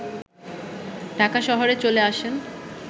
ঢাকা শহরে চলে আসেন